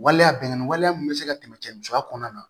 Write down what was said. Waleya bɛnnkanni waleya min bɛ se ka tɛmɛ cɛya kɔnɔna na